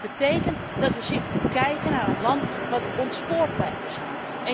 En dat betekent dat wij zitten te kijken naar een land wat ontspoord lijkt te zijn.